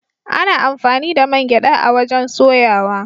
Ana amfani da man gyada a'wajen soyawa.